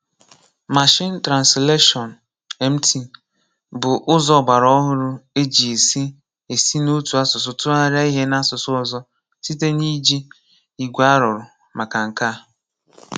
Màshìn Trànslàshọ́n (MT) bụ́ ùzò ọ̀gbàràọ̀hùrụ̀ e ji esi esi n’òtù asụsụ túghàríà ihe n’asụsụ ọ̀zọ̀ site n’iji igwe a rùrụ̀ maka nke a.